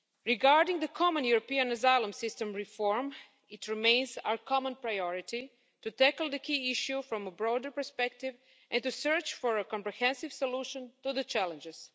Regarding the common European asylum system reform, it remains our common priority to tackle the key issue from a broader perspective and to search for a comprehensive solution to the challenges.